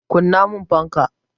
Kunna mun fanka!